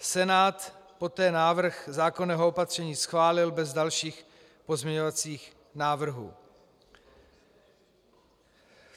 Senát poté návrh zákonného opatření schválil bez dalších pozměňovacích návrhů.